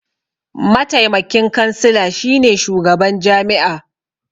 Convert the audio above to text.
Mataimakin kansila shine shugaban jami'a.